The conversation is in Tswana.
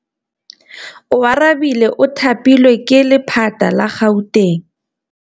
Oarabile o thapilwe ke lephata la Gauteng.